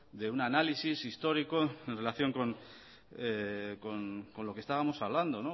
de un análisis histórico en relación con lo que estábamos hablando